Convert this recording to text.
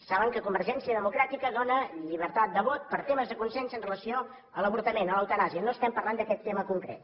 saben que convergència democràtica dóna llibertat de vot per temes de consciència amb relació a l’avortament a l’eutanàsia no estem parlant d’aquest tema concret